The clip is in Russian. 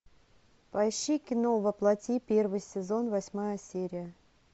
поищи кино во плоти первый сезон восьмая серия